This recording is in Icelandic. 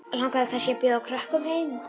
Langar þig kannski til að bjóða krökkum heim?